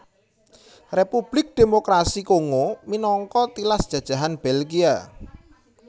Republik Démokrasi Kongo minangka tilas jajahan Belgia